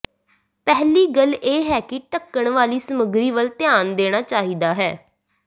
ਪਹਿਲੀ ਗੱਲ ਇਹ ਹੈ ਕਿ ਢੱਕਣ ਵਾਲੀ ਸਾਮੱਗਰੀ ਵੱਲ ਧਿਆਨ ਦੇਣਾ ਚਾਹੀਦਾ ਹੈ